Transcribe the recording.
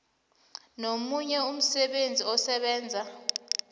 nomunye umsebenzi osebenza